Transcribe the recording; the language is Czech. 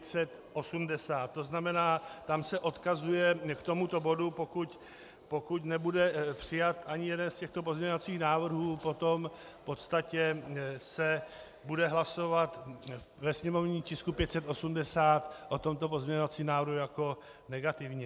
To znamená, tam se odkazuje k tomuto bodu, pokud nebude přijat ani jeden z těchto pozměňovacích návrhů, potom v podstatě se bude hlasovat ve sněmovním tisku 580 o tomto pozměňovacím návrhu jako negativně.